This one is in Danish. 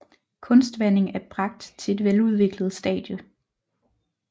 Kunstvanding er bragt til et veludviklet stade